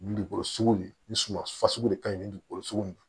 Dugukolo sugu ni suma de ka ɲi ni dukolo sugu ye